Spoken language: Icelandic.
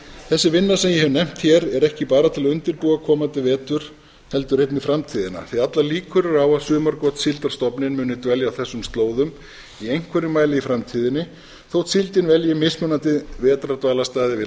þessi vinna sem ég hef nefnt hér er ekki bara ætla að undirbúa komandi vetur heldur einnig framtíðina því að allar líkur eru á að sumargotssíldarstofninn muni dvelja á þessum slóðum í einhverjum mæli í framtíðinni þó síldin velji mismunandi vetrardvalarstaði við